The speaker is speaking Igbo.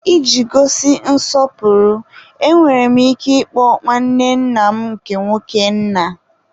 Iji gosi nsọpụrụ, enwere m ike ịkpọ nwanne nna m nke nwoke, nna.